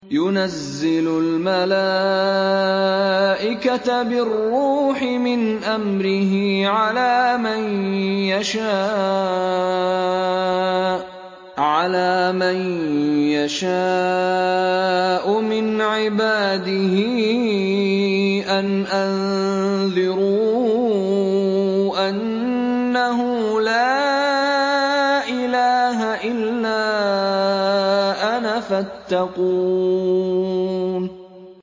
يُنَزِّلُ الْمَلَائِكَةَ بِالرُّوحِ مِنْ أَمْرِهِ عَلَىٰ مَن يَشَاءُ مِنْ عِبَادِهِ أَنْ أَنذِرُوا أَنَّهُ لَا إِلَٰهَ إِلَّا أَنَا فَاتَّقُونِ